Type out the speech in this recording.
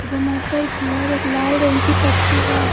एवं ऊपर की ओर एक लाल रंग की पट्टी है।